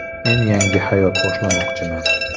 Men yangi hayot boshlamoqchiman...